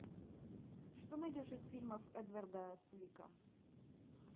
что найдешь из фильмов эдварда цвика